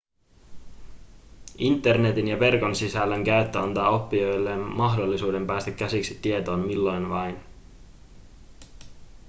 internetin ja verkon sisällön käyttö antaa oppijoille mahdollisuuden päästä käsiksi tietoon milloin vain